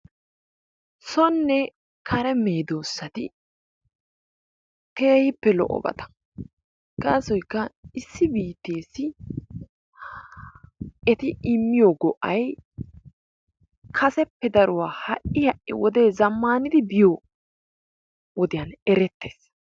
Sonne kare meedoosati keehippe lo"obata gaasoykka issi biittessi eti immiyo go"ay kaseppe daruwa ha'i ha'i wode zammana biyo wodiyaan erettees.